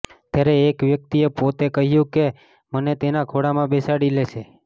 ત્યારે એક વ્યક્તિએ પોતે કહ્યુ કે તે મને તેના ખોળામાં બેસાડી લેશે